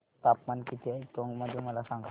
तापमान किती आहे टोंक मध्ये मला सांगा